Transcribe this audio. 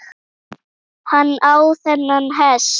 Hann á þennan hest.